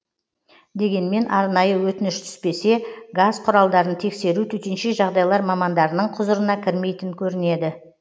дегенмен арнайы өтініш түспесе газ құралдарын тексеру төтенше жағдайлар мамандарының құзырына кірмейтін көрінеді